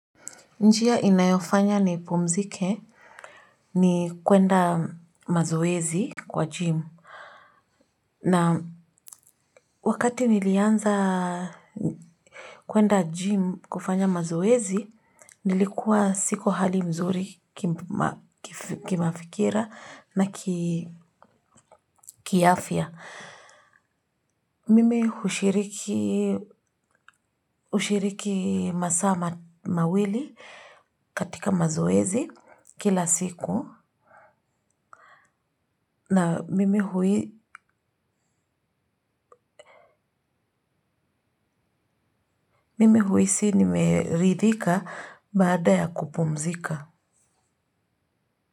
Njia inayofanya nipumzike ni kwenda mazoezi kwa gym na wakati nilianza kwenda gym kufanya mazoezi nilikuwa siko hali mzuri kimafikira na kiafya. Mimi hushiriki masaa mawili katika mazoezi kila siku na mimi huhisi nimeridhika baada ya kupumzika.